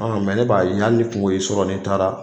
ne b'a ye hali ni kungo i sɔrɔ nin taara.